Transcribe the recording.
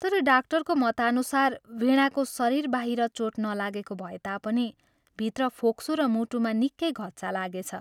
तर डाक्टरको मतानुसार वीणाको शरीरबाहिर चोट नलागेको भए तापनि भित्र फोक्सो र मुटुमा निकै घच्चा लागेछ।